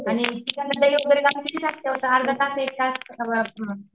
अर्धातास Ekta's